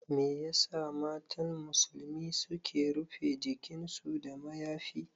Me yasa matan musulmi suke rufe jikinsu da mayafi?